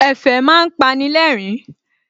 Ẹ̀fẹ̀ má ń pani lẹ́rìn-ín